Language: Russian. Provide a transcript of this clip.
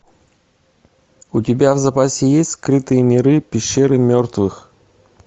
у тебя в запасе есть скрытые миры пещеры мертвых